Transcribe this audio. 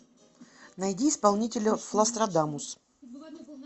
найди исполнителя флострадамус